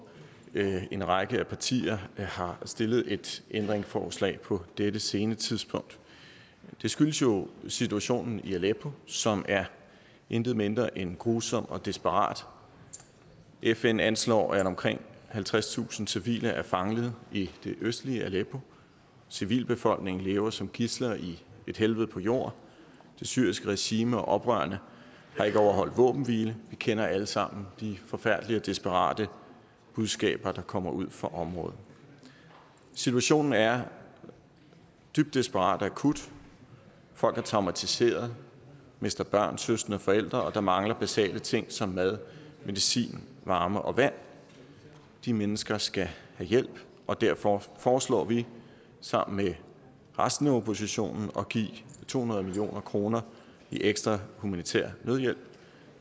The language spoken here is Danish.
en række partier har stillet et ændringsforslag på dette sene tidspunkt det skyldes jo situationen i aleppo som er intet mindre end grusom og desperat fn anslår at omkring halvtredstusind civile er fanget i det østlige aleppo civilbefolkningen lever som gidsler i et helvede på jord det syriske regime og oprørerne har ikke overholdt våbenhviler vi kender alle sammen de forfærdelige og desperate budskaber der kommer ud fra området situationen er dybt desperat og akut folk er traumatiserede mister børn søskende og forældre og der mangler basale ting som mad medicin varme og vand de mennesker skal have hjælp og derfor foreslår vi sammen med resten af oppositionen at give to hundrede million kroner i ekstra humanitær nødhjælp